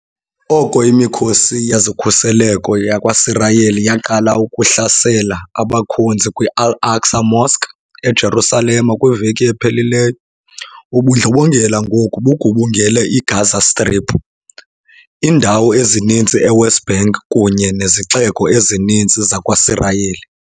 Oko imikhosi yezokhuseleko yakwaSirayeli yaqala ukuhlasela abakhonzi kwi-Al-Aqsa Mosque eJerusalem kwiveki ephelileyo, ubundlobongela ngoku bugubungele i-Gaza Strip, iindawo ezininzi e-West Bank kunye nezixeko ezininzi zakwaSirayeli.